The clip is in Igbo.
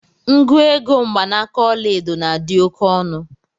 Nguoge mgbanaaka ọla edo na adị oke ọnụ.